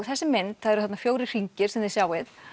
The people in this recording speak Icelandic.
þessi mynd það eru þarna fjögur hringir sem þið sjáið